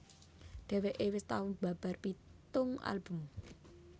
Dhèwèké wis tau mbabar pitung album